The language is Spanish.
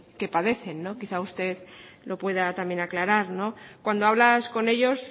que padecen quizá usted lo pueda también aclarar cuando hablas con ellos